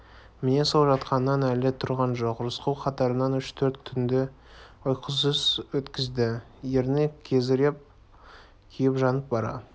міне сол жатқаннан әлі тұрған жоқ рысқұл қатарынан үш-төрт түнді ұйқысыз өткізді ерні кезеріп күйіп-жанып бара